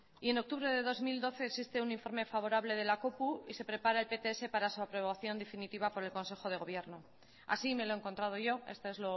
y en octubre de dos mil doce existe un informe favorable de la y se prepara el pts para su aprobación definitiva por el consejo de gobierno así me lo he encontrado yo esto es